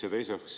Seda esiteks.